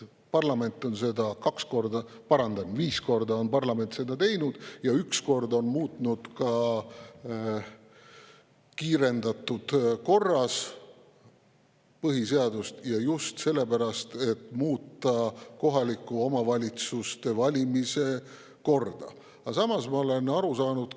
Parlament on seda viis korda teinud ja üks kord on muutnud põhiseadust ka kiirendatud korras, just selleks, et muuta kohaliku omavalitsuse valimise korda.